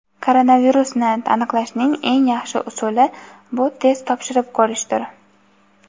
Koronavirusni aniqlashning eng yaxshi usuli bu test topshirib ko‘rishdir .